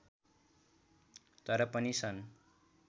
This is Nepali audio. तर पनि सन्